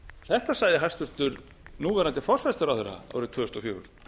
þetta sagði hæstvirtur núverandi forsætisráðherra árið tvö þúsund og fjögur